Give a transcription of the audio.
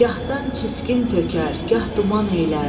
Gahdan çiskin tökər, gah duman eylər.